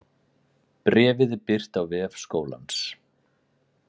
Bréfið er birt á vef skólans